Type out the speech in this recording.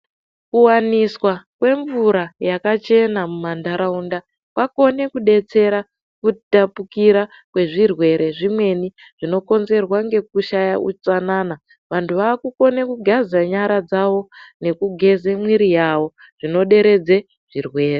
Kuwaniswa kwemvura yakachena mumantaraunda kwakone kudetsera kutapukira kwezvirwere zvimweni zvinokonzerwa ngekushaya utsanana vantu vakukone kugeze nyara dzavo nekugeze mwiri yawo zvinoderedze zvirwere.